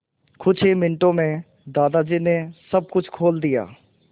कुछ ही मिनटों में दादाजी ने सब कुछ खोल दिया